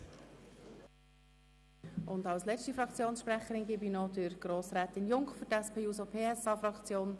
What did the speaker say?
Wir kommen zur letzten Fraktionssprecherin, Grossrätin Junker für die SP-JUSO-PSAFraktion.